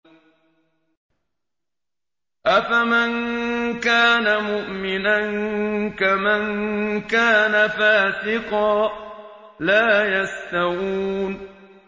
أَفَمَن كَانَ مُؤْمِنًا كَمَن كَانَ فَاسِقًا ۚ لَّا يَسْتَوُونَ